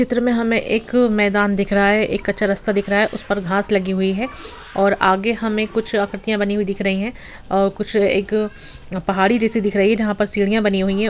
इस चित्र में हमें एक मैदान दिख रहा है एक कच्चा रस्ता दिख रहा है उस पर घास लगी हुई है और आगे हमें कुछ आकृतियां बनी हुई दिख रही है कुछ एक पहाड़ी जैसे दिख रही है जहां पर सीढ़िया बनी हुई है।